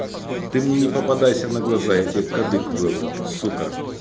ты мне не попадайся на глаза я тебе кадык вырву сука